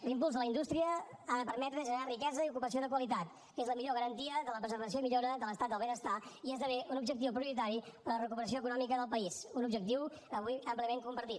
l’impuls de la indústria ha de permetre generar riquesa i ocupació de qualitat que és la millor garantia de la preservació i millora de l’estat del benestar i esdevé un objectiu prioritari en la recuperació econòmica del país un objectiu avui àmpliament compartit